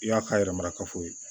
I y'a k'a yɛrɛ marakafo ye